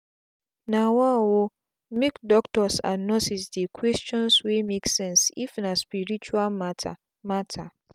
nawa ooomake doctors and nurses dey questions wey make sense if na spirtual matter. matter.